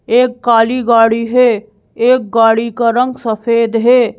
एक काली गाड़ी है एक गाड़ी का रंग सफेद है।